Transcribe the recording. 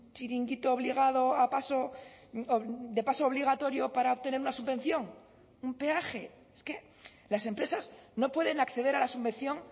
chiringuito obligado a paso de paso obligatorio para obtener una subvención un peaje es que las empresas no pueden acceder a la subvención